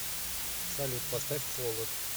салют поставь холод